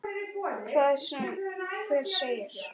Hvað sem hver segir.